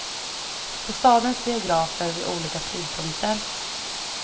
På stadens biografer vid olika tidpunkter.